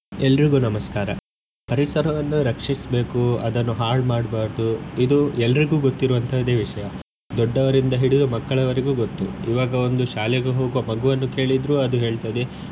ಎಲ್ರಿಗು ನಮಸ್ಕಾರ. ಪರಿಸರವನ್ನು ರಕ್ಷಿಸಬೇಕು ಅದನ್ನು ಹಾಳ್ ಮಾಡಬಾರದು ಇದು ಎಲ್ರಿಗು ಗೊತ್ತಿರುವಂತದೆ ವಿಷ್ಯ ದೊಡ್ಡವರಿಂದ ಹಿಡಿದು ಮಕ್ಕಳವರೆಗೂ ಗೊತ್ತು ಈವಾಗ ಒಂದು ಶಾಲೆಗೆ ಹೋಗುವ ಮಗುವನ್ನು ಕೇಳಿದ್ರು ಅದು ಹೇಳ್ತದೆ.